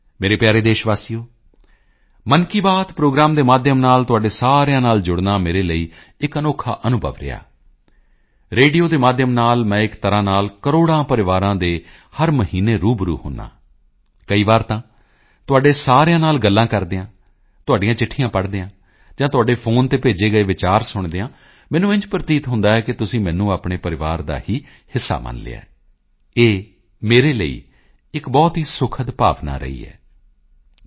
ਮੇਰੇ ਪਿਆਰੇ ਦੇਸ਼ ਵਾਸੀਓ ਮਨ ਕੀ ਬਾਤ ਪ੍ਰੋਗਰਾਮ ਦੇ ਮਾਧਿਅਮ ਨਾਲ ਤੁਹਾਡੇ ਸਾਰਿਆਂ ਨਾਲ ਜੁੜਨਾ ਮੇਰੇ ਲਈ ਇੱਕ ਅਨੋਖਾ ਅਨੁਭਵ ਰਿਹਾ ਰੇਡੀਓ ਦੇ ਮਾਧਿਅਮ ਨਾਲ ਮੈਂ ਇੱਕ ਤਰ੍ਹਾਂ ਕਰੋੜਾਂ ਪਰਿਵਾਰਾਂ ਦੇ ਹਰ ਮਹੀਨੇ ਰੂਬਰੂ ਹੁੰਦਾ ਹਾਂ ਕਈ ਵਾਰ ਤਾਂ ਤੁਹਾਡੇ ਸਾਰਿਆਂ ਨਾਲ ਗੱਲ ਕਰਦਿਆਂ ਤੁਹਾਡੀਆਂ ਚਿੱਠੀਆਂ ਪੜ੍ਹਦਿਆਂ ਜਾਂ ਤੁਹਾਡੇ ਫੋਨ ਤੇ ਭੇਜੇ ਗਏ ਵਿਚਾਰ ਸੁਣਦਿਆਂ ਮੈਨੂੰ ਇੰਝ ਪ੍ਰਤੀਤ ਹੁੰਦਾ ਹੈ ਕਿ ਤੁਸੀਂ ਮੈਨੂੰ ਆਪਣੇ ਪਰਿਵਾਰ ਦਾ ਹੀ ਹਿੱਸਾ ਮੰਨ ਲਿਆ ਹੈ ਇਹ ਮੇਰੇ ਲਈ ਇੱਕ ਬਹੁਤ ਹੀ ਸੁਖਦ ਭਾਵਨਾ ਅਨੁਭੂਤੀ ਰਹੀ ਹੈ